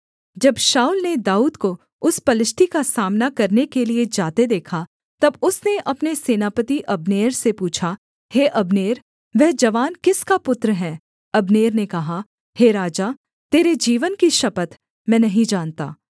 जब शाऊल ने दाऊद को उस पलिश्ती का सामना करने के लिये जाते देखा तब उसने अपने सेनापति अब्नेर से पूछा हे अब्नेर वह जवान किसका पुत्र है अब्नेर ने कहा हे राजा तेरे जीवन की शपथ मैं नहीं जानता